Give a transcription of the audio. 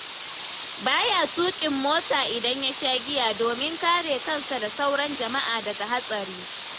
Ba ya tuƙin mota idan ya sha giya domin kare kansa da sauran jama'a daga hatsari.